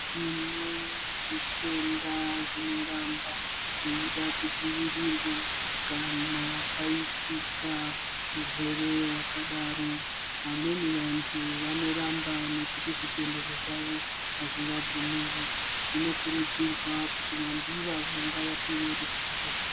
Tine zvitenda zvinoramba zveida kudzivirirwa kana paitika hurwere hwakadaro. Vamweni vantu vanoramba nekuti zvitendero zvavo hazvivabvumiri, zvinokurudzirwa kuti vantu ivavo ngavapivevo ruzivo.